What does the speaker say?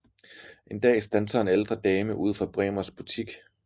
En dag standser en ældre dame ud for Bremers butik